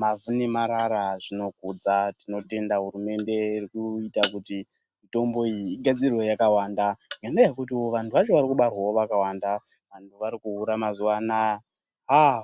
mavhu nemarara zvinokudzwa. Tinotenda hurumende iri kuita kuti mitombo iyi igadzirwe yakawanda ngenyaya yekutiwo vantu vacho vairkubarwawo vakawanda. Vantu varikuhura mazuva anaa aaah.